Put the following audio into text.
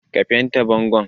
Ka fente bangon.